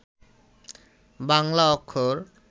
বাংলা অক্ষর